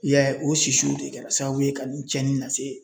I y'a ye o sisiw de kɛra sababu ye ka nin cɛnni lase